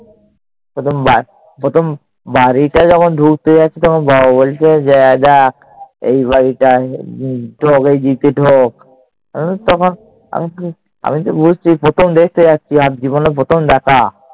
প্রথমবার প্রথম বাড়িতে যখন ঢুকতে যাচ্ছি, তখন বাবা বলছে যে যাক এই বাড়িটায় ঢোক। আমি তো বুঝছি প্রথম দেখতে যাচ্ছি আর জীবনে প্রথম দেখা